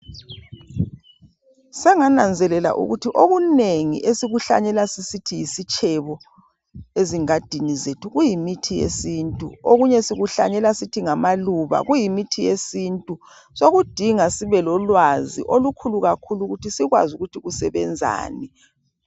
Senganazelela ukuthi okunengi esikuhlanyela sisithi yisitshebo ezingadini zethu kuyimithi yesintu okunye sikuhlanyela sithi ngamaluba kuyimithi yesintu sokudinga sibe lolwazi olukhulu kakhulu ukuthi sikwazi ukuthi kusebenzani.